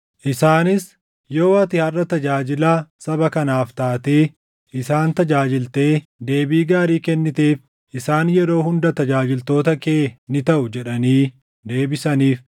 Isaanis, “Yoo ati harʼa tajaajilaa saba kanaaf taatee isaan tajaajiltee deebii gaarii kenniteef, isaan yeroo hunda tajaajiltoota kee ni taʼu” jedhanii deebisaniif.